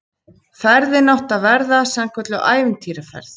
Ferðin átti að verða sannkölluð ævintýraferð